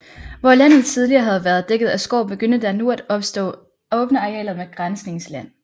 Hvor landet tidligere havde været dækket af skov begyndte der nu at opstå åbne arealer med græsningsland